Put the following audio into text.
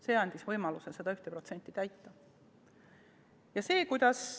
See andis võimaluse seda 1% eesmärki täita.